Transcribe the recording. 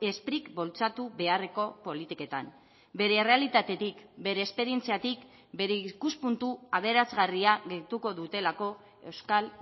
sprik bultzatu beharreko politiketan bere errealitatetik bere esperientziatik bere ikuspuntu aberasgarria gehituko dutelako euskal